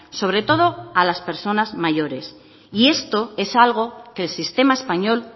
sobre todo a las personas mayores y esto es algo que el sistema español